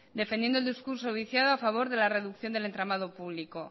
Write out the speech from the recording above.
defendiendo el discurso viciado a favor de la reducción del entramado público